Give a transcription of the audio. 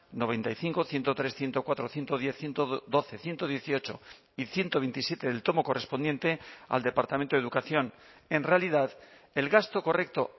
noventa y cinco ciento tres ciento cuatro ciento diez ciento doce ciento dieciocho y ciento veintisiete del tomo correspondiente al departamento de educación en realidad el gasto correcto